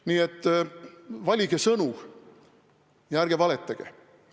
Nii et valige sõnu ja ärge valetage!